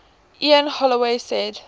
ian holloway said